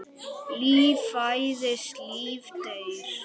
Líf fæðist, líf deyr.